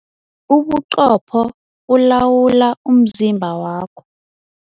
Ubuqopho bulawula umzimba wakho.